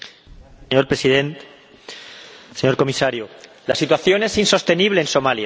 Señor Presidente, señor Comisario, la situación es insostenible en Somalia.